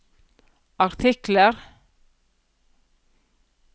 artikler